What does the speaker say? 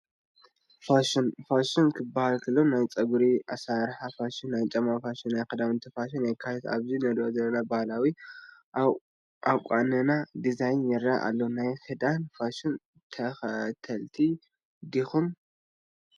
ፋሽን፡- ፋሽን ክባሃል ከሎ ናይ ጨጉሪ ኣሰራርሓ ፋሽን፣ ናይ ጫማ ፋሽን፣ ናይ ክዳውንቲ ፋሽንን የካትት፡፡ ኣብዚ ንሪኦ ዘለና ባህላዊ ኣቋንና ዲዛይን ይረአ ኣሎ፡፡ ናይ ክዳን ፋሽን ተኸተልቲ ዲኹም?